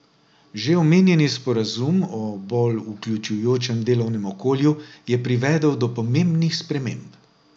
Že omenjeni sporazum o bolj vključujočem delovnem okolju je privedel do pomembnih sprememb.